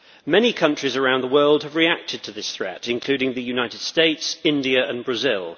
Many countries around the world have reacted to this threat, including the United States, India and Brazil.